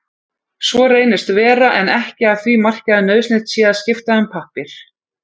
Svo reynist vera en ekki að því marki að nauðsynlegt sé að skipta um pappír.